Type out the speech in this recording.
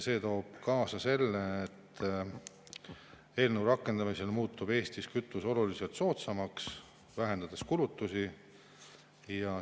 See toob kaasa selle, et eelnõu rakendamisel muutub Eestis kütus oluliselt soodsamaks, vähendades kulutusi.